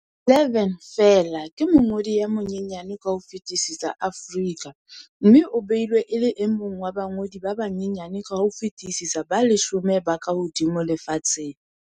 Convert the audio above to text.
11 feela, ke mongodi ya monyenyane ka ho fetisisa Aforika mme o beilwe e le e mong wa bangodi ba banyenyane ka ho fetisisa ba leshome ba kahodimo lefatsheng.